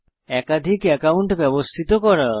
একাধিক অ্যাকাউন্ট ব্যবস্থিত করা